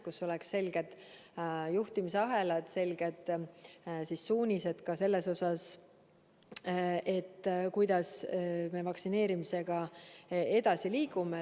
Peavad olema selged juhtimisahelad, selged suunised ka selles osas, kuidas me vaktsineerimisega edasi liigume.